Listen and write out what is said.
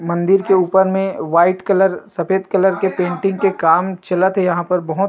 मंदिर के ऊपर में वाइट कलर सफेद कलर के पेंटिंग के काम चलत हे यहाँ पर बहोत --